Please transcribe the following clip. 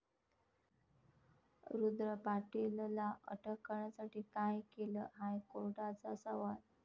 रुद्र पाटीलला अटक करण्यासाठी काय केलं?, हायकोर्टाचा सवाल